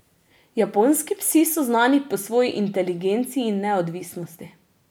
Japonski psi so znani po svoji inteligenci in neodvisnosti.